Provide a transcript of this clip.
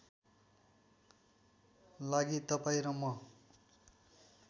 लागि तपाईँ र म